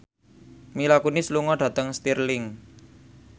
Mila Kunis lunga dhateng Stirling